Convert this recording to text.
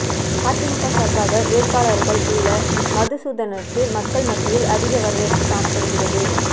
அதிமுக சார்பாக வேட்பாளராக உள்ள மதுசூதனனுக்கு மக்கள் மத்தியில் அதிக வரவேற்பு காணப்படுகிறது